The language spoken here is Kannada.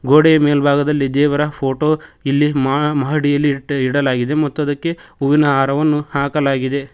ಗೋಡೆಯ ಮೇಲ್ಭಾಗದಲ್ಲಿ ದೇವರ ಫೋಟೋ ಇಲ್ಲಿ ಮಾ ಮಹಡಿಯಲ್ಲಿ ಇಟ್ಟಿ ಇಡಲಾಗಿದೆ ಮತ್ತು ಅದಕ್ಕೆ ಹೂವಿನ ಹಾರವನ್ನು ಹಾಕಲಾಗಿದೆ.